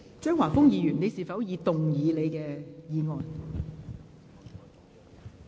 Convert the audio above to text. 張華峰議員，你是否已動議你的議案？